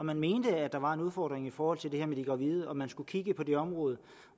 man mente at der var en udfordring i forhold til det her med de gravide og om man skulle kigge på det område